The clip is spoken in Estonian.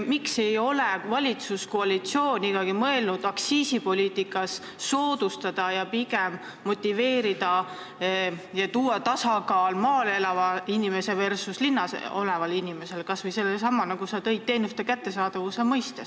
Miks ei ole valitsuskoalitsioon ikkagi mõelnud aktsiisipoliitikat ajades teha soodustusi maal elavatele inimestele, et nendelegi oleksid teenused kättesaadavad?